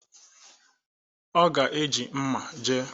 Ọ ga-eji mma jee.